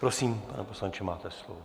Prosím, pane poslanče, máte slovo.